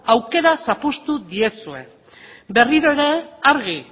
aukera zapuztu diezue berriro ere argi